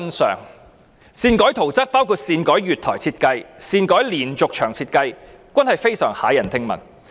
擅改圖則包括擅改月台設計及擅改連續牆設計，都是非常駭人聽聞。